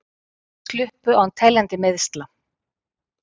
Sluppu án teljandi meiðsla